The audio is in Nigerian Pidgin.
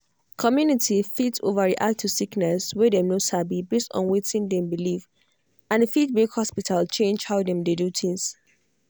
community fit overreact to sickness wey dem no sabi based on wetin dem believe and e fit make hospital change how dem dey do things.